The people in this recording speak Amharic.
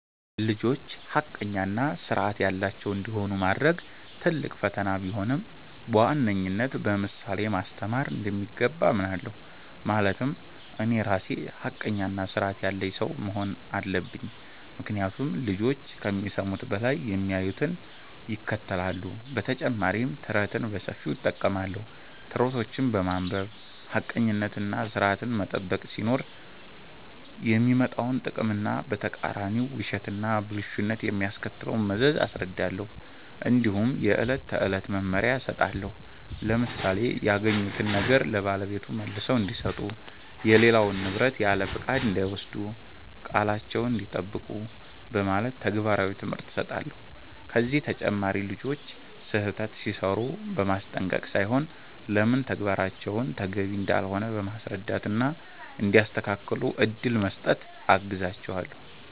ልጆች ሐቀኛ እና ሥርዐት ያላቸው እንዲሆኑ ማድረግ ትልቅ ፈተና ቢሆንም፣ በዋነኝነት በምሳሌ ማስተማር እንደሚገባ አምናለሁ። ማለትም እኔ ራሴ ሐቀኛና ሥርዐት ያለኝ ሰው መሆን አለብኝ፤ ምክንያቱም ልጆች ከሚሰሙት በላይ የሚያዩትን ይከተላሉ። በተጨማሪም ተረትን በሰፊው እጠቀማለሁ። ተረቶችን በማንበብ ሐቀኝነትና ሥርዐትን መጠበቅ ሲኖር የሚመጣውን ጥቅም እና በተቃራኒው ውሸትና ብልሹነት የሚያስከትለውን መዘዝ አስረዳለሁ። እንዲሁም የዕለት ተዕለት መመሪያ እሰጣለሁ፣ ለምሳሌ “ያገኙትን ነገር ለባለቤቱ መልሰው እንዲሰጡ”፣ “የሌላውን ንብረት ያለፍቃድ እንዳይወስዱ”፣ “ቃላቸዉን እንዲጠብቁ ” በማለት ተግባራዊ ትምህርት እሰጣለሁ። ከዚህ አንጻር ልጆች ስህተት ሲሠሩ በማስጠንቀቅ ሳይሆን ለምን ተግባራቸው ተገቢ እንዳልሆነ በማስረዳት እና እንዲያስተካክሉ እድል በመስጠት አግዛቸዋለሁ።